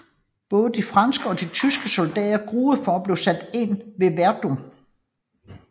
Både de franske og de tyske soldater gruede for at blive sat ind ved Verdun